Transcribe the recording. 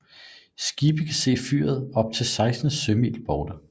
Skibe kan se fyret op til 16 sømil borte